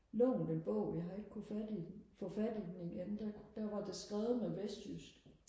lånt en bog jeg har ikke kunne fat i den få fat i den igen der kunne der var det skrevet med vestjysk